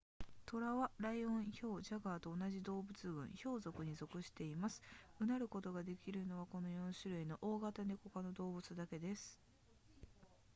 トラはライオンヒョウジャガーと同じ動物群ヒョウ属に属しています唸ることができるのはこの4種類の大型ネコ科の動物だけです